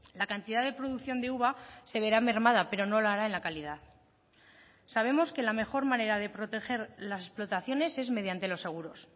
la cantidad de producción de uva se verá mermada pero no lo hará en la calidad sabemos que la mejor manera de proteger las explotaciones es mediante los seguros